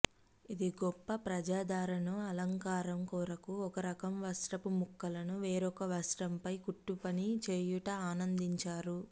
ఇది గొప్ప ప్రజాదరణను అలంకారం కొరకు ఒకరకం వస్త్రపు ముక్కలను వేరొక వస్త్రంపై కుట్టుపని చేయుట ఆనందించారు